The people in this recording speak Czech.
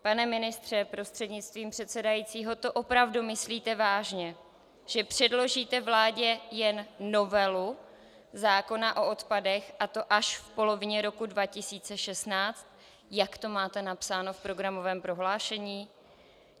Pane ministře prostřednictvím předsedajícího, to opravdu myslíte vážně, že předložíte vládě jen novelu zákona o odpadech, a to až v polovině roku 2016, jak to máte napsáno v programovém prohlášení?